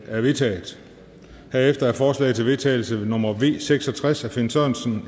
er vedtaget herefter er forslag til vedtagelse nummer v seks og tres af finn sørensen